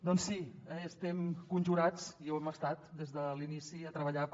doncs sí estem conjurats i ho hem estat des de l’inici a treballar per